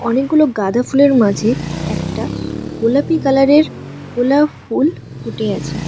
অনেকগুলো গাঁদা ফুলের মাঝে একটা গোলাপী কালারের গোলাপ ফুল ফুটে আছে।